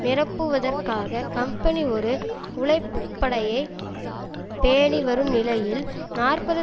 நிரப்புவதற்காக company ஒரு உழைப்பு படையை பேணி வரும் நிலையில் நாற்பது